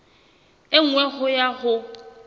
e nngwe ho ya ho